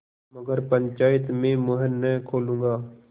मगर पंचायत में मुँह न खोलूँगा